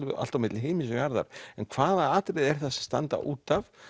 allt á milli himins og jarðar en hvaða atriði eru það sem standa út af